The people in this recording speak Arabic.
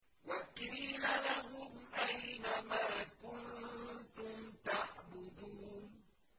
وَقِيلَ لَهُمْ أَيْنَ مَا كُنتُمْ تَعْبُدُونَ